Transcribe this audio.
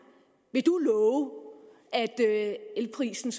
vil love at elprisen